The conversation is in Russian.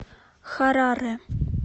хараре